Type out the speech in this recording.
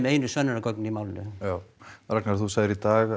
einu sönnunargögnin í málinu Ragnar þú sagðir í dag